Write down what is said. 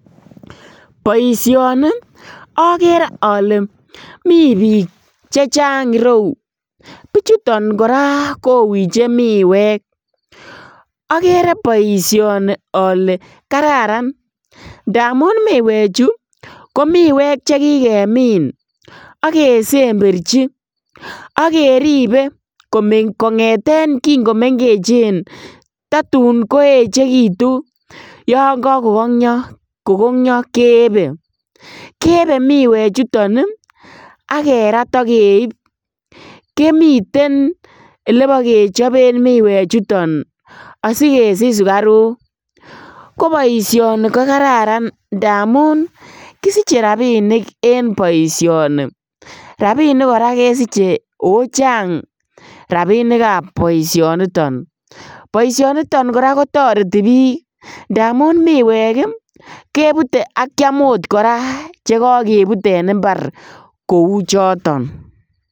Boisioni okeree ole mi bik chechang ireu, bichuton koraa kowiche miwek okere boisioni ole kararan ndamun miwechu ko miwek chekikemin ak kesemberji ak keribe kongeten kingomengechen totun koechekitun yon kakokongyo kogongyo keebe, keebe miwechuton ii ak kerat ak keib komiten elebokechoben miwechuton asikesich sukaruk, koboishoni ko Kararan ndamun kisiche rabinik en boisioni, rabinik koraa kesiche o chang rabinikab boisioniton, boisioniton koraa kotoreti bik ndamun miwek ii kebute ak kiam oot koraa chekokebut en imbar kouchoton.